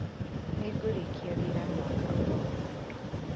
Nĩ ngurĩkia wĩra mwaka uroka